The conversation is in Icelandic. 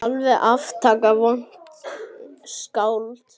Alveg aftaka vont skáld.